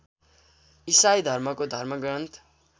इसाई धर्मको धर्मग्रन्थ